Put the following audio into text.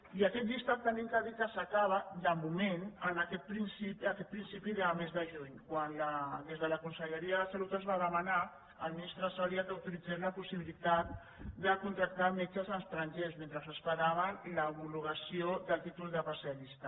i aquest llistat hem de dir que s’acaba de moment en aquest principi de mes de juny quan des de la conse·lleria de salut es va demanar al ministre soria que au·toritzés la possibilitat de contractar metges estrangers mentre esperaven l’homologació del títol d’especialista